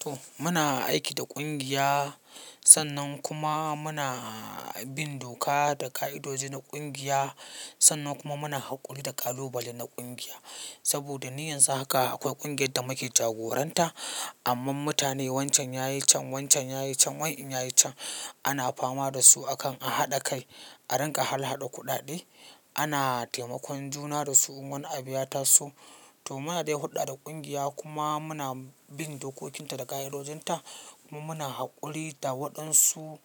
To muna aiki da kungiya, sannan kuma muna bin doka da ka'idoji na kungiya sannan kuma muna haƙuri da ƙalubale na kungiya. Saboda ni yanzu haka akwai ƙungiyar da muke jagoran ta amma mutane wancan yayi can, wancan yayi can, wancan yayi can ana fama da su akan a haɗa kai, a rin ka halhaɗa kuɗaɗe, ana taimakon juna da su, in wani abu ya ta so. To muna dai huɗɗa da kungiya kuma muna bin dokokin ta da ka'idojin ta kuma muna haƙuri da waɗan su